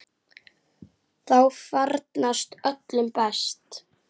Þá farnast öllum best.